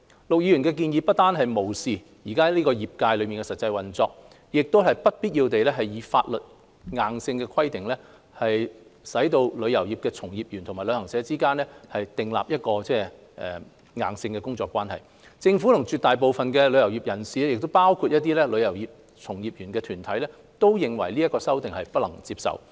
陸議員的建議不但無視現時業界的實際運作，亦會不必要地以法例規定旅遊業從業員與旅行社之間訂立硬性的工作關係，政府和絕大部分旅遊業界人士，包括一些旅遊業從業員團體，皆認為這項修訂不能接受。